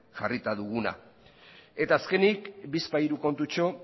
jarrita duguna eta azkenik bizpahiru kontutxo